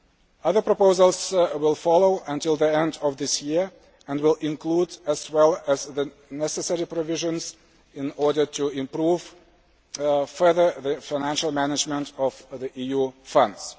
Other proposals will follow until the end of this year and will include as well the necessary provisions to improve further the financial management of EU funds.